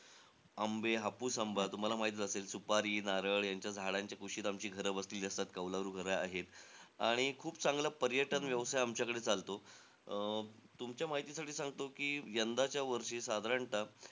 आंबे, हापूस आंबा, तुम्हाला माहीतचं असेल. सुपारी, नारळ यांच्या झाडांच्या कुशीत आमची घर वसलेली असतात. कौलारू घरं आहेत. आणि खूप चांगला पर्यटन व्यवसाय आमच्याकडे चालतो. अं तुमच्या माहितीसाठी सांगतो कि यंदाच्या वर्षी साधारणतः